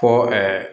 Ko